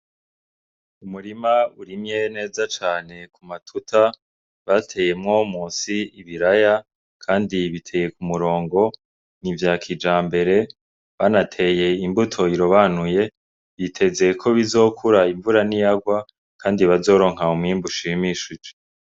Umurima urimye neza cane ku matota, bateyemwo musi ibiraya kandi biteye ku murongo, ni ivya kijambere banateye imbuto irobanuye, biteze ko bizokura imvura niyagwa kandi bazoronka umwimbu ushimishije.